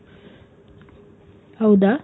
ಹೌದ?